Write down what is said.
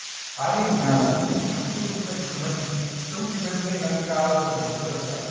अरे तुला माहितीय का? चौथी पर्यंत ए ना मी गावावर होतो माझ्या बरं का.